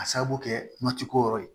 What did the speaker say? A sababu kɛ kuma ti ko yɔrɔ ye